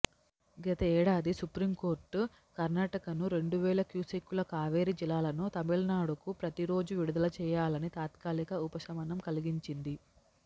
గత ఏడాది సుప్రీంకోర్టు కర్నాటకను రెండువేల క్యూసెక్కుల కావేరిజలా లను తమిళనాడుకు ప్రతిరోజు విడుదలచేయా లని తాత్కాలిక ఉపశమనం కలిగించింది